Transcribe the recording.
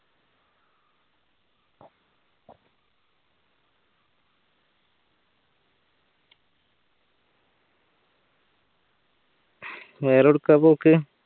വേറെ എവുടുക്ക പോക്ക്